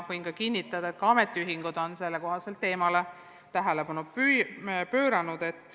Võin kinnitada, et ka ametiühingud on sellele teemale tähelepanu pööranud.